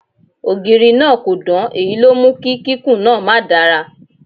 Ògiri náà kò dán, èyí ló mú kí kíkún náà ma dára.